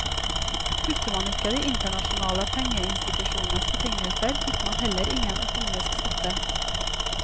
Fulgte man ikke de internasjonale pengeinstitusjonenes betingelser, fikk man heller ingen økonomisk støtte.